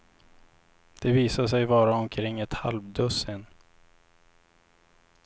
Det visade sig vara omkring ett halvdussin.